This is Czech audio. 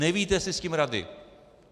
Nevíte si s tím rady.